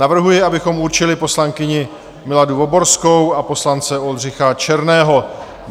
Navrhuji, abychom určili poslankyni Miladu Voborskou a poslance Oldřicha Černého.